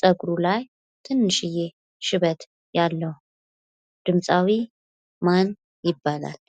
ፀጉሩ ላይ ትንሽዬ ሽበት ያለው ድምፃዊ ማን ይባላል።